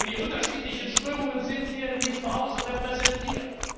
Und die unterschiedlichen Strömungen sind hier in diesem Hause repräsentiert.